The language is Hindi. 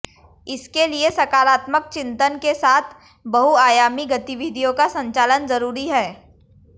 इसके लिए सकारात्मक चिन्तन के साथ बहुआयामी गतिविधियों का संचालन जरूरी है